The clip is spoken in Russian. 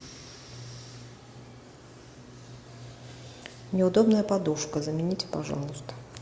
неудобная подушка замените пожалуйста